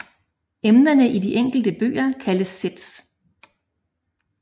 Emnerne i de enkelte bøger kaldes sets